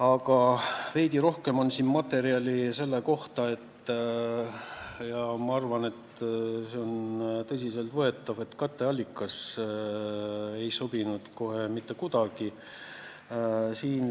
Aga veidi rohkem on meil materjali selle kohta – ja ma arvan, et see on tõsiselt võetav –, et katteallikas ei sobinud kohe mitte kuidagi.